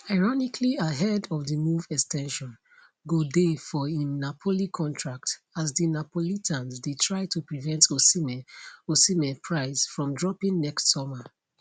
ironically ahead of di move ex ten sion go dey for im napoli contract as di neapolitans dey try to prevent osimhen osimhen price from dropping next summer